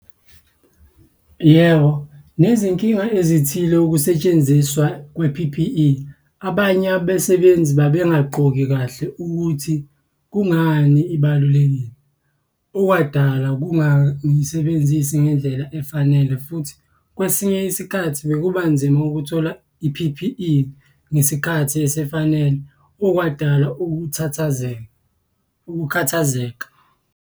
Yebo, nezinkinga ezithile ukusetshenziswa kwe-P_P_E. Abanye abasebenzi babengagqoki kahle ukuthi kungani ibalulekile. Okwadala ukungayisebenzisi ngendlela efanele, futhi kwesinye isikhathi bekuba nzima ukuthola i-P_P_E ngesikhathi esifanele. Okwadala ukuthathazeka ukukhathazeka.